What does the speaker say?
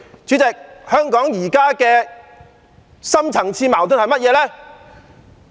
主席，香港現在的深層次矛盾是甚麼？